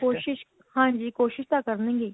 ਕੋਸ਼ਿਸ ਹਾਂਜੀ ਕੋਸ਼ਿਸ਼ ਤਾਂ ਕਰਨਗੇ ਹੀ